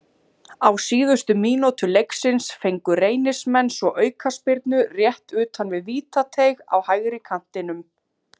Á síðustu mínútu leiksins fengu Reynismenn svo aukaspyrnu rétt utan við vítateig á hægri kantinum.